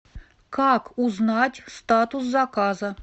как узнать статус заказа